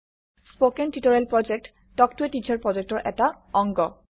spoken tutorial প্ৰকল্প talk to a teacher প্ৰকল্পৰ এটা অংগ